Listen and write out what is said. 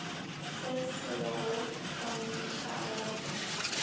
se se go kgontšha go